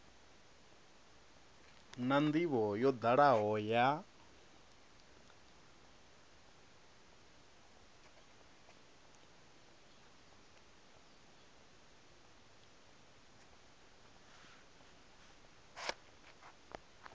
na ndivho yo dalaho ya